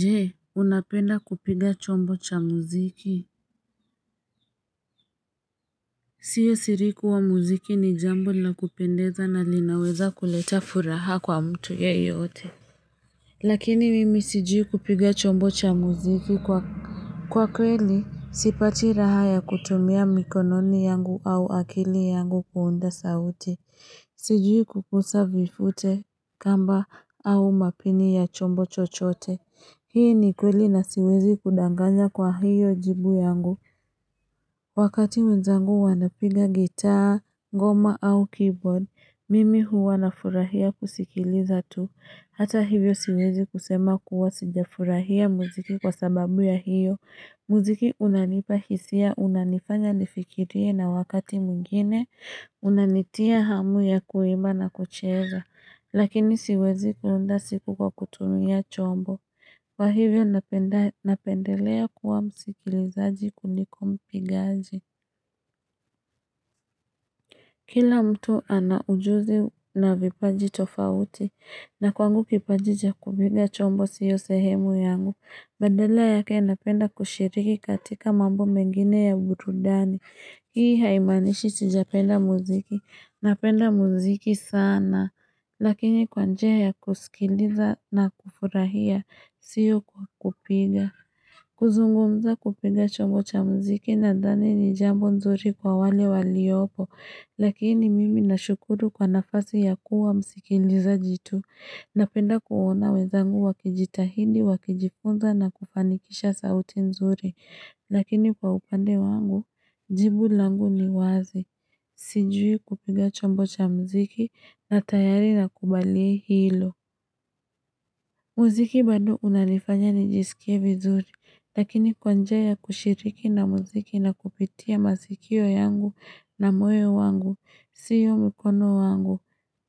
Je unapenda kupiga chombo cha muziki Siyo siri kuwa muziki ni jambo la kupendeza na linaweza kuleta furaha kwa mtu yeye yote Lakini mimi sijui kupiga chombo cha muziki kwa kwa kweli sipati raha ya kutumia mikononi yangu au akili yangu kuunda sauti Sijui kuguza vifute, kamba, au mapini ya chombo chochote. Hii ni kweli na siwezi kudanganya kwa hiyo jibu yangu. Wakati wezangu wanapiga gitaa, ngoma au keyboard, mimi huwa na furahia kusikiliza tu. Hata hivyo siwezi kusema kuwa sija furahia muziki kwa sababu ya hiyo. Muziki unanipa hisia, unanifanya nifikirie na wakati mwingine. Unanitia hamu ya kuimba na kucheeza Lakini siwezi kuunda siku kwa kutumia chombo Kwa hivyo napendelea kuwa msikilizaji kuliko mpigaji Kila mtu anaujuzi na vipaji tofauti na kwangu kipaji cha kupiga chombo siyo sehemu yangu Bandala yake napenda kushiriki katika mambo mengine ya burudani Hii haimanishi sijapenda muziki Napenda muziki sana, lakini kwa njia ya kusikiliza na kufurahia, siyo kwa kupiga. Kuzungumza kupiga chombo cha muziki nathani ni jambo nzuri kwa wale waliopo, lakini mimi na shukuru kwa nafasi ya kuwa msikilizaji tu. Napenda kuona wenzangu wa kijitahidi, wakijifunza na kufanikisha sauti nzuri. Lakini kwa upande wangu, jibu langu ni wazi, sijui kupiga chombo cha mziki na tayari na kubali hilo. Muziki bado unanifanya ni jisikie vizuri, lakini kwa njia ya kushiriki na mziki na kupitia masikio yangu na moyo wangu, siyo mukono wangu.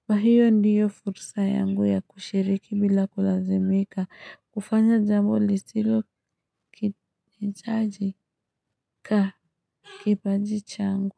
Kwa hiyo ndiyo fursa yangu ya kushiriki bila kulazimika, kufanya jambo lisilo kitajika kipaji changu.